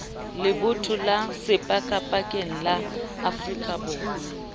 lebotho la sepakapakeng la afrikaborwa